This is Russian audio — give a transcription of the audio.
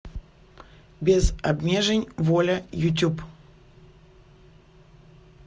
без обмежень воля ютюб